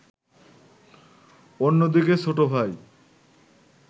অন্যদিকে ছোটভাই